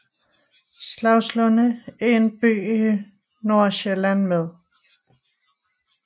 Slagslunde er en by i Nordsjælland med